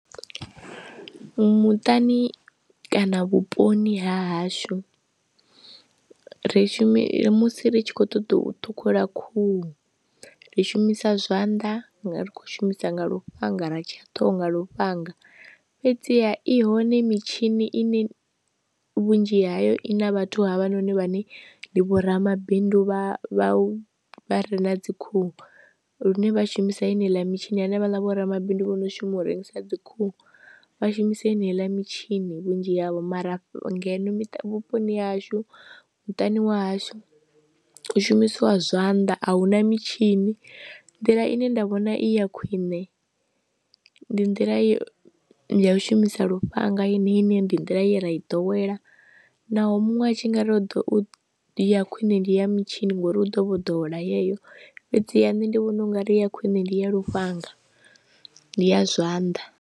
Muṱani kana vhuponi ha hashu ri shumi musi ri tshi khou ṱoḓa u ṱhukhula khuhu ri shumisa zwanḓa nga ri khou shumisa nga lufhanga ra tsha ṱhoho nga lufhanga, fhedziha i hone mitshini ine vhunzhi hayo i na vhathu havha noni vhane ndi vho ramabindu vha vha vha re na dzikhuhu lune vha shumisa ini heiḽa mitshini hanefhaḽa vho ramabindu vho no shuma u rengisa dzi khuhu, vha shumisa heneiiḽa mitshini vhunzhi havho mara ngeno vhuponi hashu muṱani wa hashu u shumisiwa zwanḓa, ahuna mitshini. Nḓila ine nda vhona i ya khwine ndi nḓila ya ya u shumisa lufhanga yeneyi ine ndi nḓila ye ra i ḓowela naho muṅwe atshi ngauri u ḓo ya khwine ndi ya mitshini ngori u ḓo vho ḓowela yeyo, fhedziha nṋe ndi vhona ungari ya khwine ndi ya lufhanga ndi ya zwanḓa.